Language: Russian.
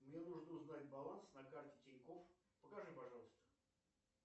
мне нужно узнать баланс на карте тинькофф покажи пожалуйста